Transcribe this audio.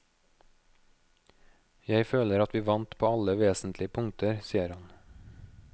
Jeg føler at vi vant på alle vesentlige punkter, sier han.